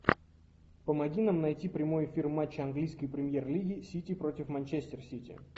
помоги нам найти прямой эфир матча английской премьер лиги сити против манчестер сити